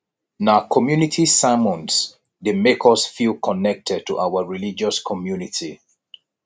na community sermons dey make us feel connected to our religious community